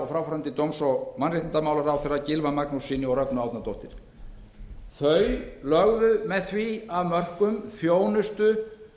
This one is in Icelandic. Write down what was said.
fráfarandi dómsmála og mannréttindaráðherra gylfa magnússyni og rögnu árnadóttur með því lögðu þau af mörkum þjónustu